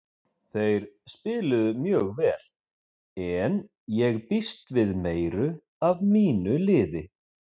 Þeir spiluðu mjög vel en ég býst við meiru af mínu liði.